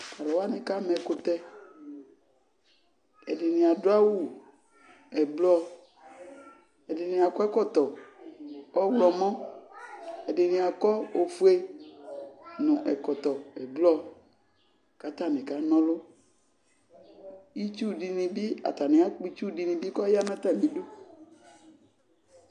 Tʋ alʋ wanɩ kama ɛkʋtɛ Ɛdɩnɩ adʋ awʋ ɛblɔ, ɛdɩnɩ akɔ ɛkɔtɔ ɔɣlɔmɔ, ɛdɩnɩ akɔ ofue nʋ ɛkɔtɔ ɛblɔ kʋ atanɩ kana ɔlʋ Itsu dɩnɩ bɩ, atanɩ akpɔ itsu dɩnɩ bɩ kʋ ɔya nʋ atamɩdu